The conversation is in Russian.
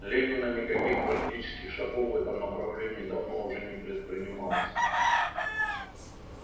ленина никаких практических шагов в этом направлении давно уже не предпринималось